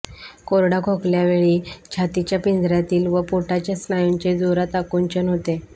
कोरडा खोकल्यावेळी छातीच्या पिंजऱ्यातील व पोटाच्या स्नायूंचे जोरात आकुंचन होते